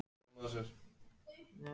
Hans er leitað.